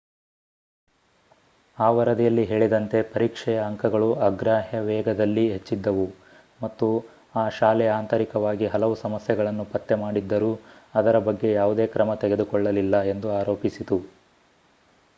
ಆ ವರದಿಯಲ್ಲಿ ಹೇಳಿದಂತೆ ಪರೀಕ್ಷೆಯ ಅಂಕಗಳು ಅಗ್ರಾಹ್ಯ ವೇಗದಲ್ಲಿ ಹೆಚ್ಚಿದ್ದವು ಮತ್ತು ಆ ಶಾಲೆ ಆಂತರಿಕವಾಗಿ ಹಲವು ಸಮಸ್ಯೆಗಳನ್ನು ಪತ್ತೆಮಾಡಿದ್ದರೂ ಅದರ ಬಗ್ಗೆ ಯಾವುದೇ ಕ್ರಮ ತೆಗೆದುಕೊಳ್ಳಲಿಲ್ಲ ಎಂದು ಆರೋಪಿಸಿತು